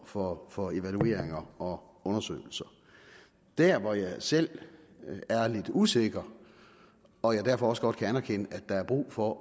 for for evalueringer og undersøgelser der hvor jeg selv er lidt usikker og jeg derfor også godt kan anerkende at der er brug for